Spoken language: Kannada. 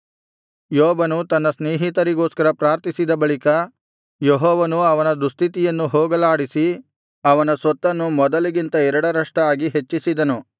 ಯೋಬನು ತನ್ನ ಸ್ನೇಹಿತರಿಗೋಸ್ಕರ ಪ್ರಾರ್ಥಿಸಿದ ಬಳಿಕ ಯೆಹೋವನು ಅವನ ದುಸ್ಥಿತಿಯನ್ನು ಹೋಗಲಾಡಿಸಿ ಅವನ ಸೊತ್ತನ್ನು ಮೊದಲಿಗಿಂತ ಎರಡರಷ್ಟಾಗಿ ಹೆಚ್ಚಿಸಿದನು